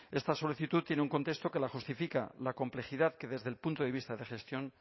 esta solicitud tiene un contexto que la justifica la complejidad que desde el punto de vista de gestión